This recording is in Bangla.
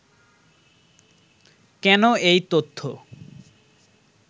কেন এই তথ্য